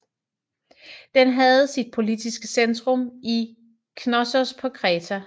Den havde sit politiske centrum i Knossos på Kreta